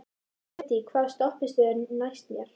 Hedí, hvaða stoppistöð er næst mér?